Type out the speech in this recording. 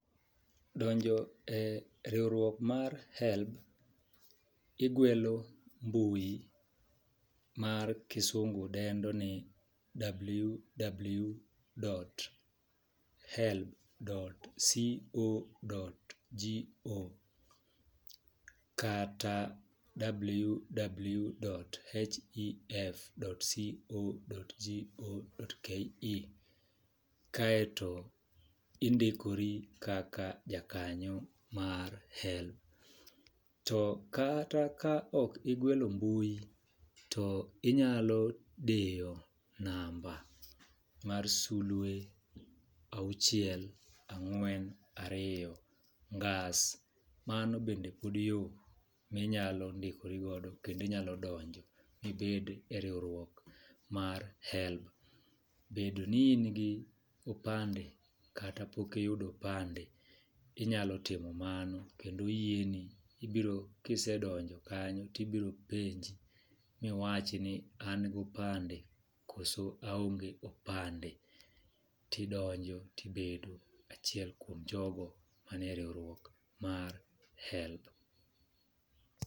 Donjo e riwruok mar HELB , igwelo mbui mar kisungu dendo ni ww dot helb dot co dot go kata ww dot hef dot co dot go dot ke kaeto indikori kaka jakanyo mar HELB. To kata ka ok igwelo mbui , to inyalo diyo namba mar sulwe auchiel ang'wen ariyo ngas . Mano bende pod yoo minyalo ndikori godo kendo inyalo donjo mibed e riwruok mar HELB . Bedo ni in gi opande kata pok iyudo opande inyalo timo mano kendo oyieno, ibro kisedonjo kanyo ibro penji miwach ni an gopande koso aonge opande tidonjo tibedo achiel kuom jogo manie riwruok mar HELB